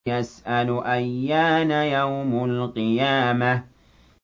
يَسْأَلُ أَيَّانَ يَوْمُ الْقِيَامَةِ